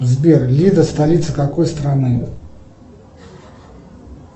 сбер лида столица какой страны